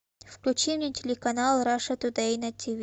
включи мне телеканал раша тудей на тв